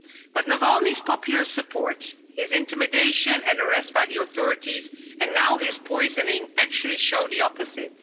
But Navalny's popular support, his intimidation and arrest by the authorities, and now his poisoning actually show the opposite.